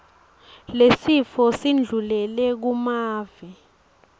lesifo sindlulele kumave